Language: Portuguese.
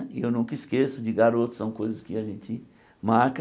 E eu nunca esqueço, de garoto são coisas que a gente marca.